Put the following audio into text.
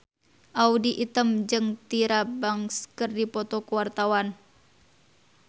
Audy Item jeung Tyra Banks keur dipoto ku wartawan